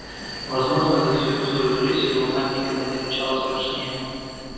возможно за всю свою жизнь его мать никогда не рычала страшнее